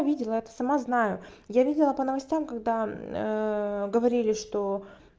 видела это сама знаю я видела по новостям когда говорили что